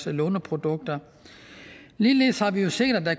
låneprodukter ligeledes har vi jo set at der